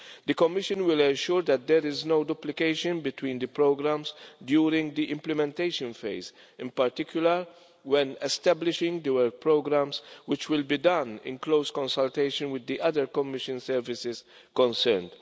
The Commission will ensure that there is no duplication between the programmes during the implementation phase, in particular when establishing the work programmes, which will be done in close consultation with the other Commission services concerned.